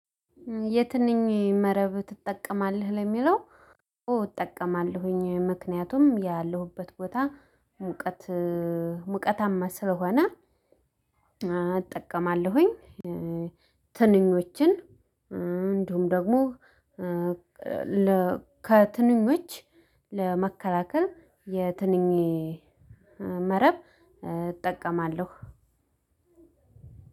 የትንኝ መረብ ትጠቀማለህ ለሚለው? አዎ እጠቀማለሁኝ ምክንያቱም ያለሁበት ቦታ ሙቀት ሙቀታማ ስለሆነ እጠቀማለሁኝ። ትንኞችን እንዲሁም ደግሞ ለ ከትንኞች ለመከላከል የትንኝ መረብ እጠቀማለሁ።